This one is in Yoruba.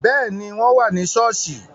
Béẹ̀ ni, wọ́n wà ni ṣọ́ọ́ṣì